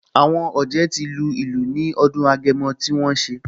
Àwọn ọ̀jẹ̀ ti lu ìlù ní ọdún Agẹmọ tí wọ́n ṣe